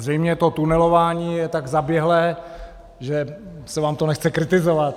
Zřejmě to tunelování je tak zaběhlé, že se vám to nechce kritizovat.